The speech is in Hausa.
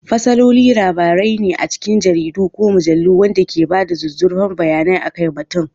Fasaloli labarai ne a cikin jaridu ko mujallu waɗanda ke ba da zuzzurfan bayanai akan batun.